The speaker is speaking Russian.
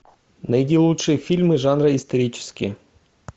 найди лучшие фильмы жанра исторические